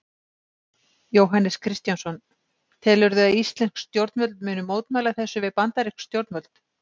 Jóhannes Kristjánsson: Telurðu að íslensk stjórnvöld muni mótmæla þessu við bandarísk stjórnvöld?